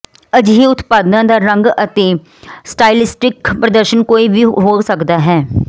ਅਜਿਹੇ ਉਤਪਾਦਾਂ ਦਾ ਰੰਗ ਅਤੇ ਸਟਾਈਲਿਸਟਿਕ ਪ੍ਰਦਰਸ਼ਨ ਕੋਈ ਵੀ ਹੋ ਸਕਦਾ ਹੈ